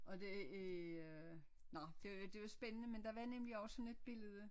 Og det er øh nå det det var spændende men der var nemlig også sådan et billede